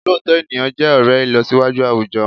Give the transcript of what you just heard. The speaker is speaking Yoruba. Òlóòtọ́ ènìyàn jẹ́ ọ̀rẹ́ ìlọsíwájú àwùjọ